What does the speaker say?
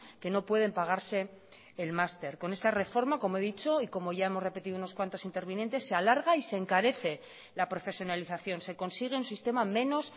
que no pueden pagarse el máster con esta reforma como he dicho y como ya hemos repetido unos cuantos intervinientes se alarga y se encarece la profesionalización se consigue un sistema menos